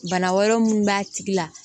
Bana wɛrɛ minnu b'a tigi la